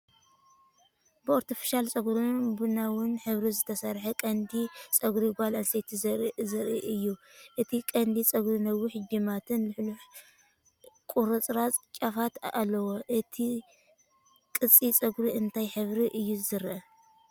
ብኣርተፊሻል ጸጉርን ቡናውን ሕብሪ ዝተሰርሐ ቅዲ ጸጉሪ ጓል ኣንስተይቲ ዘርኢ እዩ። እቲ ቅዲ ጸጉሪ ነዊሕ ጅማትን ልሕሉሕ ቁርጽራጽ ጫፋትን ኣለዎ። እቲ ቅዲ ጸጉሪ እንታይ ሕብሪ እዩ ዝረአ?